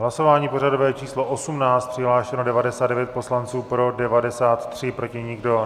Hlasování pořadové číslo 18, přihlášeno 99 poslanců, pro 93, proti nikdo.